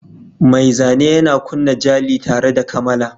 Mai zane yana kunna jali tare da kamala.